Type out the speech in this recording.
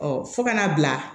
fo ka n'a bila